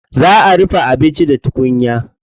Za a dafa abinci da tukunya.